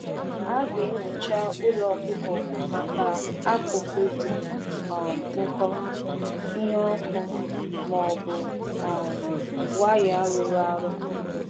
um A ghaghị na-enyocha ụlọ zụ anụ ọkụkọ maka ihe dị egwu dị ka nko dị egwu, ihe na-akpata ọkụ, ma ọ bụ waya mebiri.